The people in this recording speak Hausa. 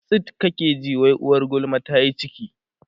tsit kake ji wai uwar gulma tayi ciki